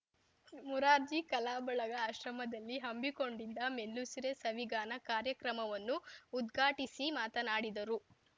ಮುರಾರ್ಜಿ ಕಲಾಬಳಗ ಆಶ್ರಮದಲ್ಲಿ ಹಮ್ಮಿಕೊಂಡಿದ್ದ ಮೆಲ್ಲುಸಿರೆ ಸವಿಗಾನ ಕಾರ್ಯಕ್ರಮವನ್ನು ಉದ್ಘಾಟಿಸಿ ಮಾತನಾಡಿದರು